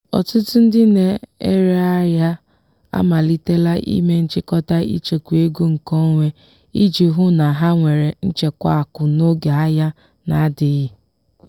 ọtụtụ ndị na-ere ahịa amalitela ime nchikota ịchekwa ego nkeonwe iji hụ na ha nwere nchekwa akụ n'oge ahia na-adịghị.